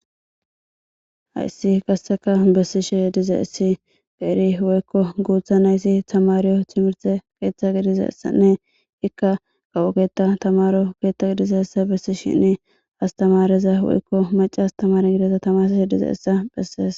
Hayssi qasseka bessishe diizayssi qeeri woykko guutha nayti tammariyo timihirte keththa gelizayssane iika kawo keta tammaro ketta giddidayssa bessishin astameryka macca astamarey tamarsishe diizayssa beses.